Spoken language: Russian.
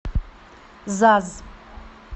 заз